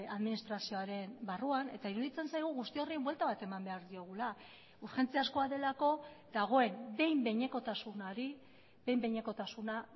administrazioaren barruan eta iruditzen zaigu guzti horri buelta bat eman behar diogula urgentziazkoa delako dagoen behin behinekotasunari behin behinekotasuna